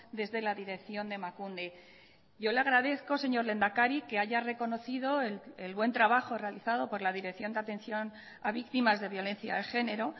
desde la dirección de emakunde yo le agradezco señor lehendakari que haya reconocido el buen trabajo realizado por la dirección de atención a víctimas de violencia de género